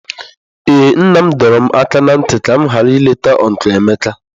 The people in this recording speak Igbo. Ee nna m dọrọ m aka ná ntị ka m ghara ileta ọncụl Emeka.